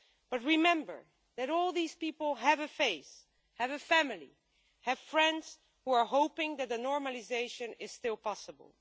But remember that all these people have a faith, have a family and have friends who are hoping that normalisation is still possible.